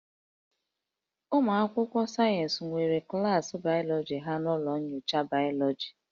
Ụmụ akwụkwọ sayensị nwere klaasị bayọlọji ha n'ụlọ nyocha bayọlọji